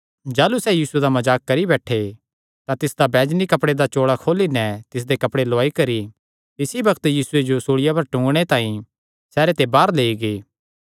जाह़लू सैह़ यीशुये दा मजाक करी बैठे तां तिसदा बैजनी कपड़े दा चोल़ा खोली नैं तिसदे कपड़े लौआई करी तिसी बग्त यीशुये जो सूल़िया पर टूंगणे तांई बाहर लेई गै